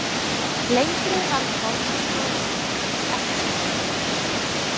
Lengri varð formleg skólaganga hans ekki.